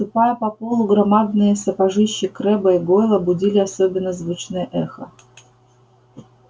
ступая по полу громадные сапожищи крэбба и гойла будили особенно звучное эхо